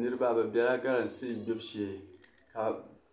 Niriba bi bɛla galamse. gbibi shee ka